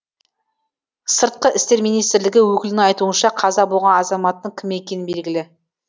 сыртқы істер министрлігі өкілінің айтуынша қаза болған азаматтың кім екені белгілі